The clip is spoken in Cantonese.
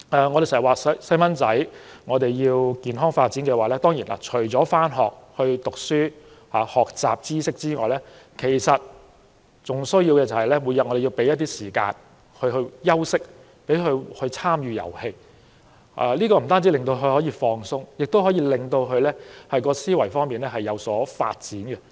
我們經常說如果要孩子健康發展，除了上學唸書和學習知識外，還要每天給他們時間休息和參與遊戲，這不單可以令他們放鬆，也可令他們的思維能力有所發展。